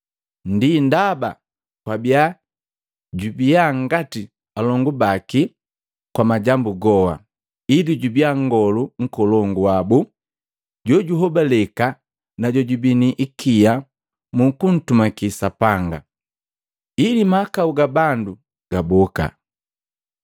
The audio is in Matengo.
Ndi ndaba kwabia jubiya ngati alongu baki kwa majambu goha, ili jubiya Nngolu Nkolongu wabu jojuhobaleka na jojubii ni ikia mu kuntumaki Sapanga, ili mahakau ga bandu gaboka.